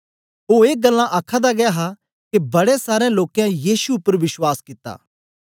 ओ ए गल्लां आखादा गै हा के बड़े सारें लोकें यीशु उपर विश्वास कित्ता